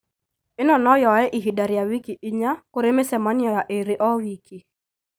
Īno no yoe ihinda rĩa wiki inya kũrĩ mĩcemanio ya ĩĩrĩ o wiki